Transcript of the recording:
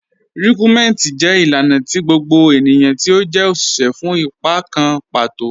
Rikúnmẹntí jẹ́ ilànà tì gbogbo ẹniyan tí ó jẹ́ oṣiṣẹ́ fún ìpà kàn patò.